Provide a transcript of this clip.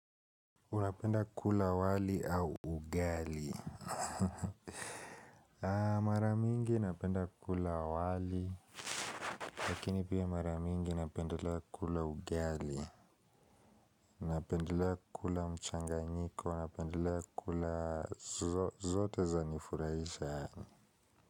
Unapenda kula wali au ugali mara mingi napenda kula wali lakini pia mara mingi napenda kula ugali napenda kula mchanganyiko napenda kula zote zanifurahisha.